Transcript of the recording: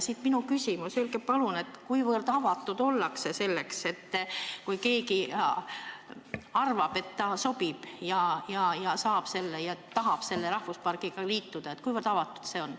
Siit ka minu küsimus: öelge palun, kuivõrd avatud ollakse sellele, kui keegi arvab, et ta sobib, ja tahab selle rahvuspargiga liituda.